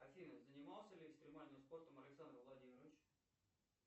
афина занимался ли экстремальным спортом александр владимирович